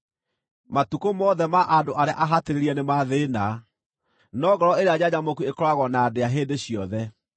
Matukũ mothe ma andũ arĩa ahatĩrĩrie nĩ ma thĩĩna, no ngoro ĩrĩa njanjamũku ĩkoragwo na ndĩa hĩndĩ ciothe.